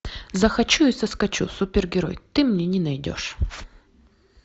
захочу и соскочу супергерой ты мне не найдешь